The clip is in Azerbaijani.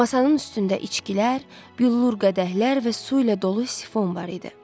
Masanın üstündə içkilər, büllur qədəhlər və su ilə dolu sifon var idi.